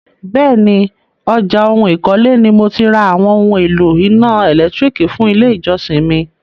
Bẹ́ẹ̀ni, ọjà oun ìkọ́lé ni mo ti ra àwọn oún èlò iná ẹ̀lẹ́tírìkì fún ilé ìjọsìn mi.